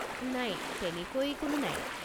নাই, তেনেকৈ কোনো নাই।